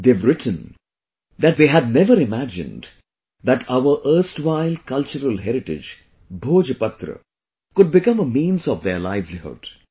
They have written that 'They had never imagined that our erstwhile cultural heritage 'Bhojpatra' could become a means of their livelihood